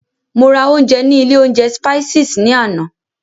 Mo ra ounjẹ ní ilé oúnjẹ Spices ní àná.